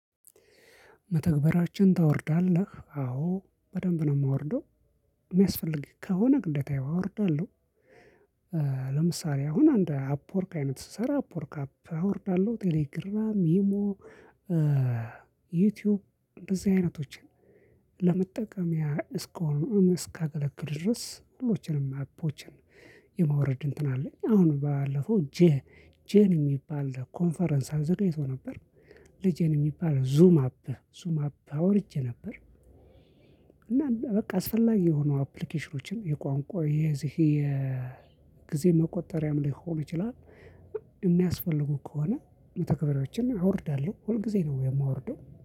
መተግበሪያዎችን ታወርዳለህ አዎ በደንብ ነው የማወርደው የሚያስፈልገኝ ከሆነ ግደታ አወርዳለሁ። ለምሳሌ አሁን እንድ አፕወርክ አይነት ስሰራ አፕወርክ አፕ አወርዳለሁ ቴሌግራም ኢሞ ዩቲዩብ እንደዚህ አይነቶችን ለመጠቀሚያ እስሆኑ እስካገለገሉ ድረስ ሁሎችንም አፖችን የማውረድ እንትን አለኝ አሁን ባለፈው ጄን ጄን የሚባል ኮንፈረንስ አዘጋጅቶ ነበር። ለጄን የሚባል ዙም አፕ ዙም አፕ አውርጄ ነበር። እና በቃ አስፈላጊ የሆኑ አፕሊኬሽኖችን የቋንቋ የዚህ የጊዜ መቁጠሪያም ሊሆን ይችላል። የሚያስፈልጉ ከሆነ መተግበሪያዎችን አወርዳለሁ ሁል ጊዜ ነው የማወርደው